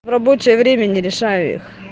в рабочее время не решаю их